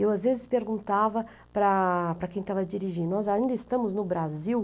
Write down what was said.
Eu às vezes perguntava para, para quem estava dirigindo, nós ainda estamos no Brasil?